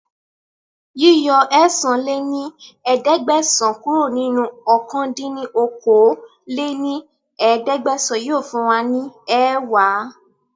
Yíyọ ẹ̀sán lé ní ẹ̀ẹ́dẹ́gbẹ́sán kúrò nínú ọ̀kan dín ní okòó-lé-ní-ẹ̀ẹ́dẹ́gbẹ́sán yìí ó fún wa ní ẹẹ́wá